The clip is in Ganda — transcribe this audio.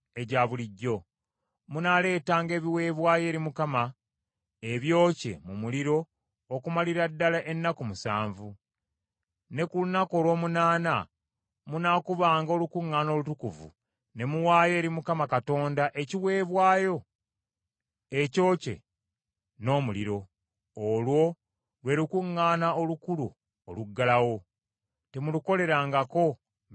Munaaleetanga ebiweebwayo eri Mukama ebyokye mu muliro okumalira ddala ennaku musanvu, ne ku lunaku olw’omunaana munaakubanga olukuŋŋaana olutukuvu ne muwaayo eri Mukama Katonda ekiweebwayo ekyokye n’omuliro. Olwo lwe lukuŋŋaana olukulu oluggalawo, temulukolerangako mirimu egya bulijjo.